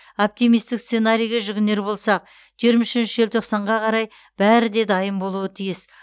оптимистік сценарийге жүгінер болсақ жиырма үшінші желтоқсанға қарай бәрі де дайын болуы тиіс